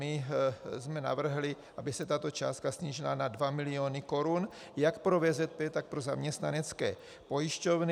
My jsme navrhli, aby se tato částka snížila na 2 miliony korun jak pro VZP, tak pro zaměstnanecké pojišťovny.